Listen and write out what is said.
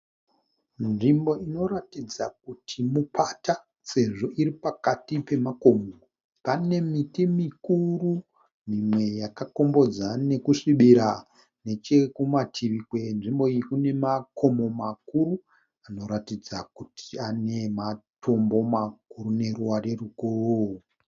Nzvimbo inoratidza kuti mupata sezvo iri pakati pemakomo. pane miti mikuru mimwe yakakombodza nekusvibira, nechekumativi kwenzvimbo iyi kune makomo makuru zvinoratidza kuti ane matombo makuru neruware rukuru